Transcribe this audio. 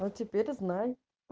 вот теперь знай